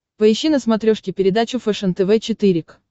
поищи на смотрешке передачу фэшен тв четыре к